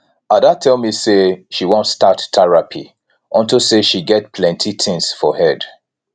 ada tell me say she wan start therapy unto say she get plenty things for head